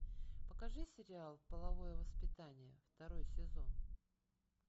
покажи сериал половое воспитание второй сезон